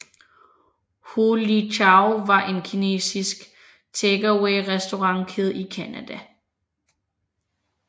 Ho Lee Chow var en kinesisk takeawayrestaurantkæde i Canada